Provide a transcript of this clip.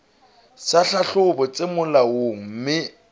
tsa tlhahlobo tse molaong mme